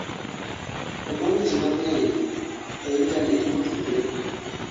omoro ji mang'eny e intanet motudre